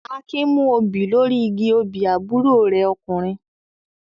Akin mú òbí lórí igi obì àbúrò rẹ̀ ọkùnrin.